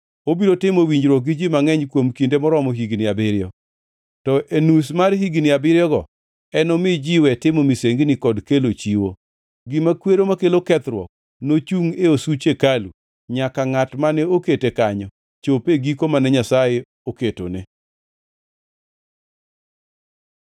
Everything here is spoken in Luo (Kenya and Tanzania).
Obiro timo winjruok gi ji mangʼeny kuom kinde maromo higni abiriyo. To e nus mar higni abiriyogo, enomi ji we timo misengini kod kelo chiwo. Gima kwero makelo kethruok nochungʼ e osuch hekalu, nyaka ngʼat mane okete kanyo chop e giko mane Nyasaye oketone.”